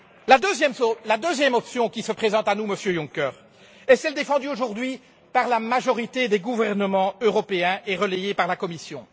La deuxième option qui se présente à nous, Monsieur Juncker, est celle défendue aujourd'hui par la majorité des gouvernements européens et relayée par la Commission.